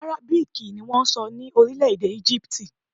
Àrábíìkì ni wọ́n ń sọ ní orílẹ̀-èdè Égípítì